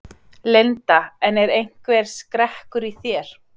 Linda: En er einhver skrekkur í þér?